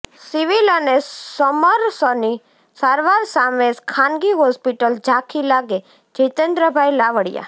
civil અને સમરસની સારવાર સામે ખાનગી હોસ્પિટલ ઝાંખી લાગેઃ જીતેન્દ્રભાઇ લાવડીયા